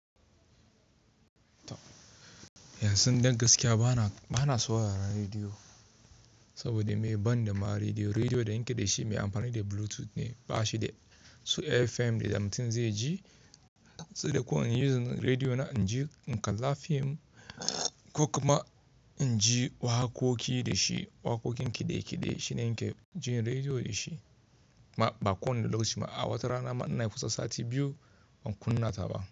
Yanzu don gaskiya bana saurara radio, saboda me? Ban da ma radio. Radio da nake da shi mai amfani da Bluetooth ne, bashi da su FM da mutun ze ji. Sai dai ko in yi radio na in kalla fim, ko kuma in ji waƙoƙi da shi. Waƙoƙin kide-kide shine yake jin radio da shi. Ma ba kuwa ne da lokaci a wata rana ma inayi kusan sati biyu ban kunna ta ba.